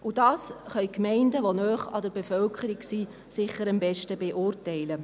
Und das können die Gemeinden, die nahe bei der Bevölkerung sind, sicher am besten beurteilen.